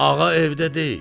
"Ağa evdə deyil."